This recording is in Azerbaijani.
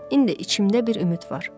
İndi içimdə bir ümid var.